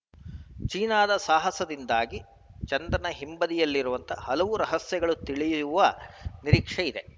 ಚೀನಾದ ಸಾಹಸದಿಂದಾಗಿ ಚಂದ್ರನ ಹಿಂಬದಿಯಲ್ಲಿರುವ ಹಲವು ರಹಸ್ಯಗಳು ತಿಳಿಯುವ ನಿರೀಕ್ಷೆ ಇದೆ